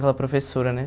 aquela professora, né?